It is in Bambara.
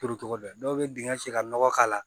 Turucogo dɔn dɔw bɛ dingɛ sen ka nɔgɔ k'a la